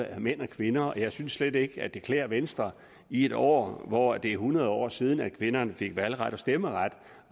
af mænd og kvinder jeg synes slet ikke at det klæder venstre i et år hvor det er hundrede år siden at kvinderne fik valgret og stemmeret